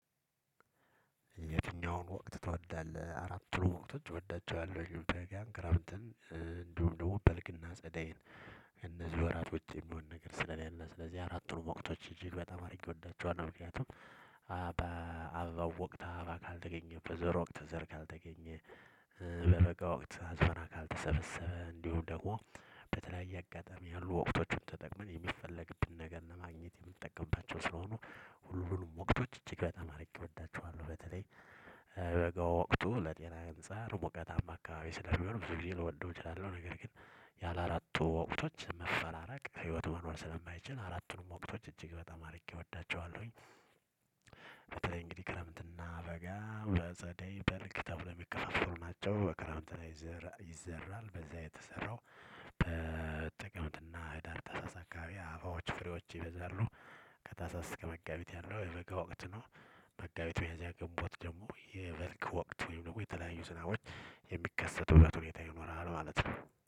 የትኛውን ወቅት ትወዳለህ አራቱንም ወቅቶች እወዳቸዋለህ በጋ ክረምትን እንዲሁም ደግሞ በልክና ጸደይን እነዚህ ወራት ውጪ የሚሆን ነገር ስለሌለ ስለዚህ አራቱን ወቅቶች እጅግ በጣም አድርጌ እወዳቸዋለሁ። ምክንያቱም በአበባው ወቅት አበባ ካልተገኘበት በዘር ወቅት ዘር ካልተገኘ በበጋ ወቅት አዝመራ ካልተሰበሰበ እንዲሁ ደግሞ በተለያየ አጋጣሚ ያሉ ወቅቶቹን ተጠቅመን የሚፈለግብን ነገር ለማግኘት የምንጠቀምባቸው ስለሆኑ ሁሉንም ወቅቶች እጅግ በጣም አድርጌ እወዳቸዋለሁ። በተለይ በጋ ወቅቱ ለጤና ገንጸር ሙቀታማ አካባቢ ስለሚሆን ብዙ ጊዜ ልወደው እችላለሁ። ነገር ግን ያላራቱ ወቅቶች መፈራራቅ ህይወት መኖር ስለማይችል አራቱንም ወቅቶች እጅግ በጣም አድርጌ እወዳቸዋለሁኝ። በተለይ እንግዲህ ክረምትና በጋ በጸደይ በልግ ተብለው እሚከፋፈሉ ናቸው። በክረምት ላይ ዘር ይዘራል የተሰራው በተጠቀምትና ህዳር ታህሳስ አባዎች ፍሬዎች ይበዛሉ። ከታህሳስ እስከ መጋቢት ያለው የበጋ ወቅት ነው። መጋቢት ሚያዚያ ግንቦት ደግሞ የበልግ ወቅት ወይም ደግሞ የተለያዩ ስራዎች የሚከሰቱበት ሁኔታ ይኖራሉ ማለት ነው